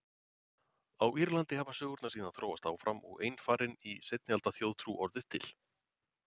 Á Írlandi hafi sögurnar síðan þróast áfram og einfarinn í seinni alda þjóðtrú orðið til.